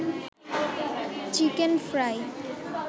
chicken fry